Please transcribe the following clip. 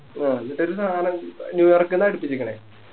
ആ ന്നിട്ടൊരു സാനം ന്യൂ യോർക്കിന്ന അടിപ്പിച്ചിക്കിണെ